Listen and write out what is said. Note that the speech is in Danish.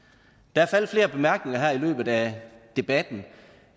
der er faldet flere bemærkninger her i løbet af debatten